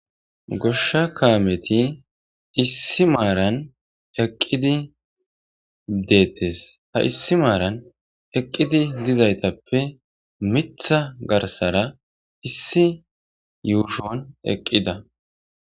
Gosha kaameti issi maaran eqidi deetes ha issi maaran eqidi dizaytape mitha garsara issi yushon eqida.